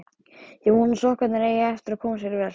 Ég vona að sokkarnir eigi eftir að koma sér vel.